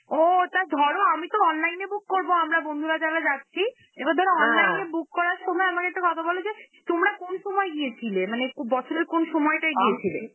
ও, তা ধরো আমি তো online এ book করব, আমরা বন্ধুরা যারা যাচ্ছি, এবার ধরো online এ book করার সময়, আমাকে একটা কথা বলো যে তোমরা কোন সময় গিয়েছিলে? মানে কু~ বছরের কোন সময়টা গিয়েছিলে?